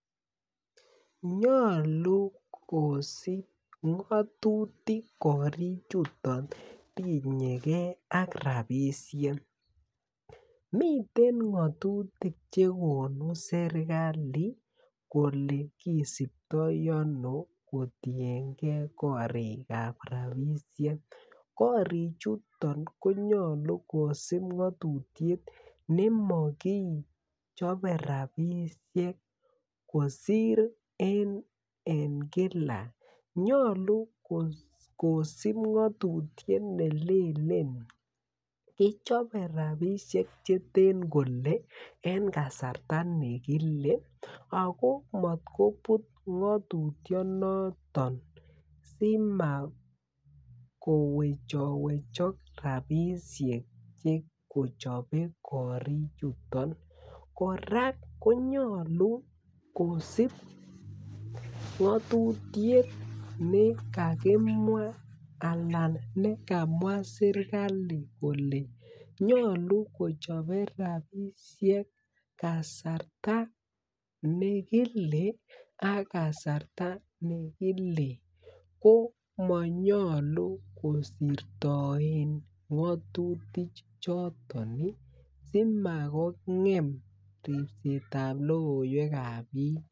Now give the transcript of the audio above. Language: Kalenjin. Nyalu kosip ngatutik korik chuton tinyegee ak rapisiek miten ngatutik chekonu serikali kolekisuptoi ano kotienge korik ab rapisiek korik chuton konyalu kosib ngatutiet kichobe rapisiek kosir en kila nyolu kosip ngatutiet nelelen kichobe rapisiek cheten kole en kasarta negile ago matgoput ngatutiet noton simakowechowechok rapisiek kochobe korichiton kora konyalu kosip ngatutiet negakimwa anan kokamwa serikali kole nyalu kochobe rapisiek kasarta nekile ak kasarta nekile komanyalu kosirtoen ngatutik choton simagongem ribset ab logoiwek ab biik